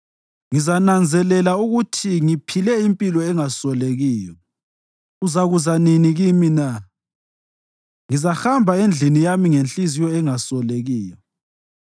Ngizananzelela ukuthi ngiphile impilo engasolekiyo uzakuza nini kimi na? Ngizahamba endlini yami ngenhliziyo engasolekiyo.